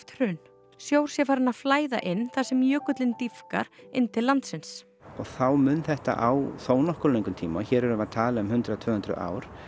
hrun sjór sé farinn að flæða inn þar sem jökullinn dýpkar inn til landsins þá mun þetta á þónokkuð löngum tíma hér erum við að tala um hundrað til tvö hundruð ár